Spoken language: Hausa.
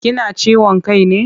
Kina ciwon kai ne?